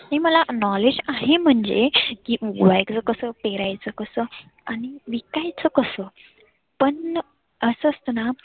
नाही मला knowledge आहे म्हणजे उगवायच कसं, पेरायच कसं, आणि पिकवायच कसं. पण असं असत ना